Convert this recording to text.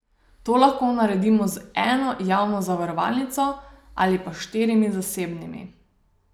To lahko naredimo z eno javno zavarovalnico ali pa štirimi zasebnimi.